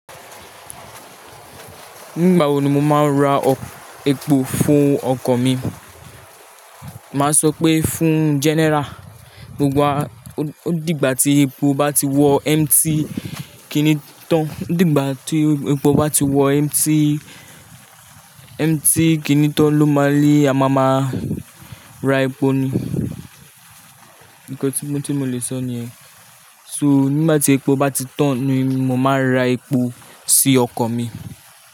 Nígbà wo ni mo máa ra epo fún ọkọ̀ mi? Máa sọ pé fún general. Mo gbá, ó dìgbà tí epo bá ti wọ empty kìíní tán. Ó dìgbà tí epo bá ti wọ empty, empty kìíní tán ló máa n, ni a máa máa ra epo ni. Nìkan tí mo lè sọ niyẹn. So nígbà tí epo bá ti tán ni mo máa ra epo sí ọkọ̀ mi.